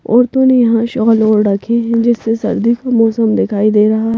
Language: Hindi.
औरतों ने यहाँ शॉल ओड़ रखे हैं जिससे सर्दी का मौसम दिखाई दे रहा।